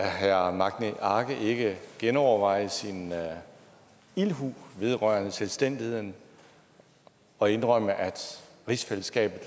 herre magni arge ikke genoverveje sin ildhu vedrørende selvstændigheden og indrømme at rigsfællesskabet